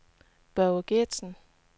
Børge Geertsen